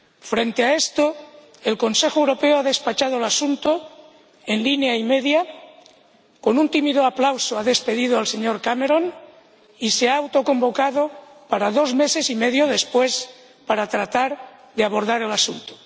Frente a esto, el Consejo Europeo ha despachado el asunto en línea y media, con un tímido aplauso ha despedido al señor Cameron y se ha autoconvocado para dentro de dos meses y medio para tratar de abordar el asunto.